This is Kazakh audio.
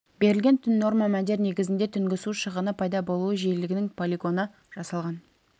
берілген түн норма мәндер негізінде түнгі су шығыны пайда болуы жиілігінің полигоны жасалған